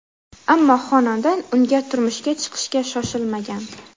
Ammo xonanda unga turmushga chiqishga shoshilmagan.